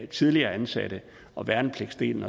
tidligere ansatte og værnepligtsdelen